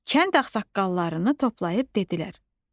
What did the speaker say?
Kənd ağsaqqallarını toplayıb dedi: